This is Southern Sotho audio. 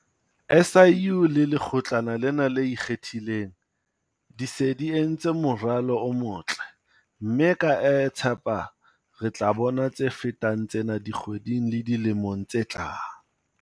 SIU le Lekgotlana lena le Ikgethileng di se di entse moralo o motle, mme ke a tshepa re tla bona tse fetang tsena dikgweding le dilemong tse tlang.